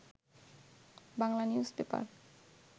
Bangla news paper